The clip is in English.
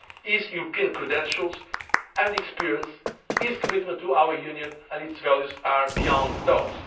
years. His European credentials and experience, his commitment to our Union and its values are beyond